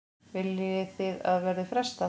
Viljið þið að verði frestað?